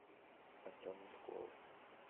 артем меркулов